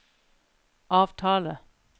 avtale